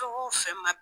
Fɛn o fɛn ma